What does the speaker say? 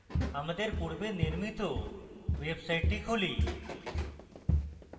আমাদের পূর্বে নির্মিত ওয়েবসাইটটি খুলি